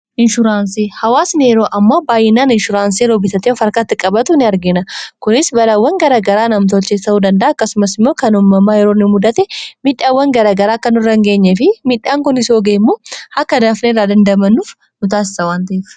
inshuuransii, hawaasni yeroo ammoo baayyinaan inshuraansii yeroo bitaatee of arkaatti qabatu in argina kunis balawwan garagaraa namtolchee ta'uu dandaa akkasumas immoo kan ummamaa yeroo mudate midhaawwan garagaraa kkan orrangeenye fi midhaan kun is oogeemmu akka daafneerraa dandamanuuf nu taassawwantiif